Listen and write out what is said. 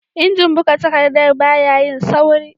Injin buga takaddar baya yin sauri